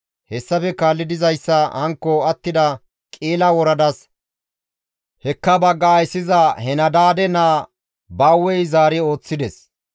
Hessafe kaalli dizayssa hankko attida Qi7ila woradas hekka bagga ayssiza Henadaade naa Bawey zaari ooththides.